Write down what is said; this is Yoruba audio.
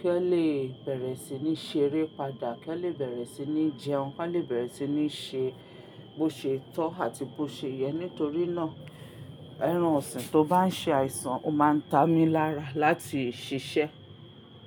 kí ó lè bẹ̀rẹ̀ sí ní ṣeré padà, kí ó lè bẹ̀rẹ̀ sí ní jẹun, kí wọ́n lè bẹ̀rẹ̀ sí ní ṣe bó ṣe tọ́ àti bó ṣe yẹ. Nítorí náà ẹran ọ̀sìn tó bá ń ṣe àìsàn ó má ń ta mí lára láti ṣiṣẹ́.